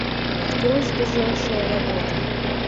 открой сбежавшая работа